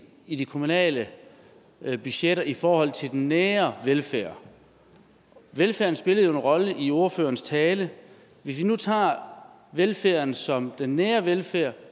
i de kommunale budgetter i forhold til den nære velfærd velfærden spillede jo en rolle i ordførerens tale hvis vi nu tager velfærden som den nære velfærd